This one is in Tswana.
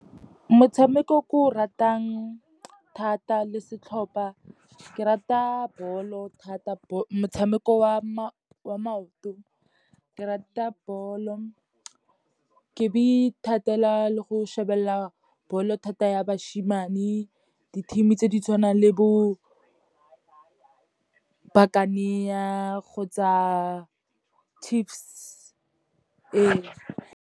Motshameko o ke o ratang thata le setlhopha, ke rata ball-o thata, motshameko wa maoto, ke rata ball-o. Ke be ithatela le go shebelela ball-o thata ya bashimane, di-team tse di tshwanang le bo Buccaneer, kgotsa Chiefs eo.